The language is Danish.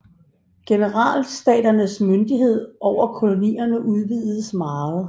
Generalstaternes myndighed over kolonierne udvidedes meget